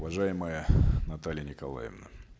уважаемая наталья николаевна